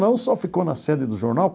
Não só ficou na sede do jornal.